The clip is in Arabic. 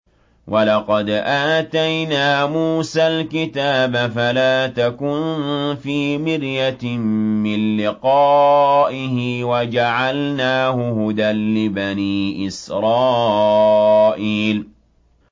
وَلَقَدْ آتَيْنَا مُوسَى الْكِتَابَ فَلَا تَكُن فِي مِرْيَةٍ مِّن لِّقَائِهِ ۖ وَجَعَلْنَاهُ هُدًى لِّبَنِي إِسْرَائِيلَ